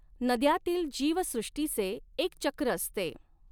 नद्यांतील जीवसॄष्टीचे एक चक्र असते.